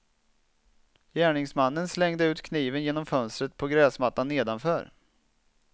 Gärningsmannen slängde ut kniven genom fönstret på gräsmattan nedanför.